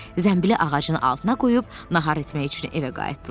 Zənbili ağacın altına qoyub nahar etmək üçün evə qayıtdılar.